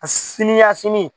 Sini ya sini